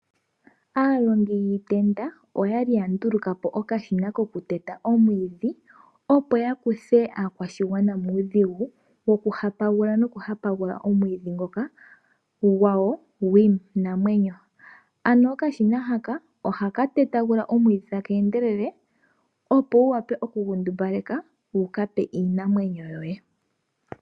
Aalongi yiitenda oya kinya nduluka po omashina kokuteka omwiidhi, opo ya kuthe aakwashigwana muudhigu wo ku hapagula no ku hapagula omwiidhi ngoka gwawo gwiinamwenyo. Ano okashina haka ohaka tetagula omwiidhi taka endelele opo wu wape oku gu ndumbaleka wu ka pe iinamwenyo yoye.